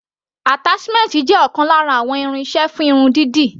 Attachment jẹ́ ọ̀kan lára àwọn irinṣẹ́ fún irun dídì.